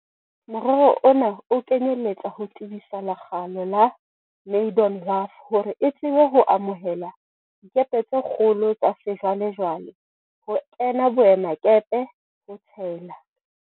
Morero ona o kenyeletsa ho tebisa lekgalo la Maydon Wharf hore e tsebe ho amohela dikepe tse kgolo tsa sejwale-jwale ho kena boemakepe, ho tshela